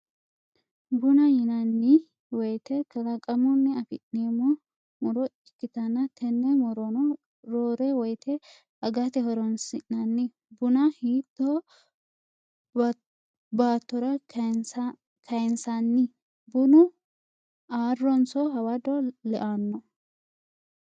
Buna yinanniweyite kalaqamunni afi'neemmo muro ikkitana tenne murono roore woyite agate horonsi'nanni. Buna hitto baattora kayinsanni? Bunu arronso hawado leanno?